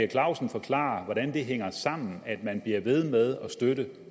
clausen forklare hvordan det hænger sammen at man bliver ved med at støtte